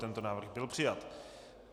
Tento návrh byl přijat.